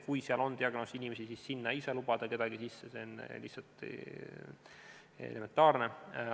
Kui seal on diagnoosiga inimesi, siis ei saa sinna kedagi sisse lubada, see on elementaarne.